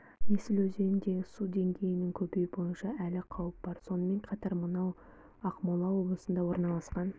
есіл өзеніндегі су деңгейінің көбеюі бойынша әлі қауіп бар сонымен қатар мынау ақмола облысында орналасқан